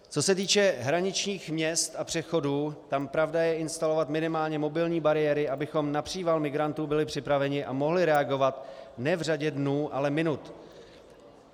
Co se týče hraničních měst a přechodů, tam pravda je instalovat minimálně mobilní bariéry, abychom na příval migrantů byli připraveni a mohli reagovat ne v řadě dnů, ale minut.